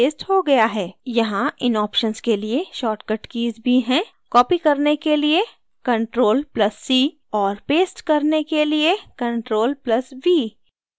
यहाँ इन options के लिए shortcut कीज़ भी हैंcopy करने के लिए ctrl + c और paste करने के लिए ctrl + v